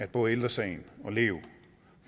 både ældre sagen lev